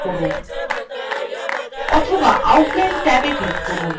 অথবা outline ট্যাবে click করুন